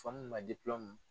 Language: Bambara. Faamamu ma ye